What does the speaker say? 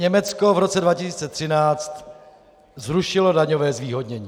Německo v roce 2013 zrušilo daňové zvýhodnění.